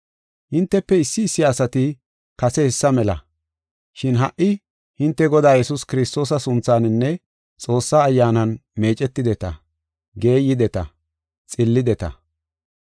Hintefe issi issi asati kase hessa mela. Shin ha77i, hinte Godaa Yesuus Kiristoosa sunthaninne Xoossaa Ayyaanan meecetideta; geeydeta; xillideta.